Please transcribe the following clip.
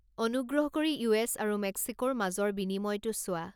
অনুগ্ৰহ কৰি ইউ.এছ. আৰু মেক্সিকোৰ মাজৰ বিনিময়টো চোৱা